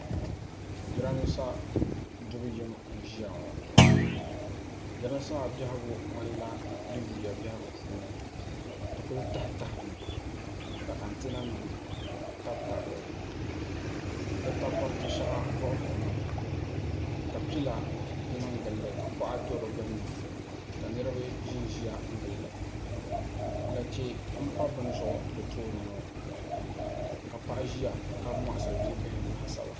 Jirambiisa dubu yim n-ʒiya ŋɔ jirambiisa maa biɛhiɡu ŋmanila di yuuya biɛhiɡu puuni di kuli tahitahimi ka antinanima tabitabi li di takɔriti shɛŋa vuɣivuɣimi ka pila niŋ ɡili li ka kɔɣa do di ɡbunni ka niriba zi n-ziya n-ɡili li lache m-pa bini zuɣu di tooni ŋɔ ka paɣa ʒiya m-mɔɣisiri bia bihim laasabu